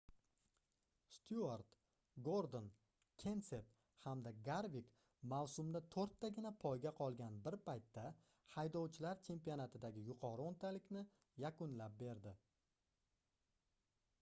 styuart gordon kenset hamda garvik mavsumda toʻrttagina poyga qolgan bir paytda haydovchilar chempionatidagi yuqori oʻntalikni yakunlab berdi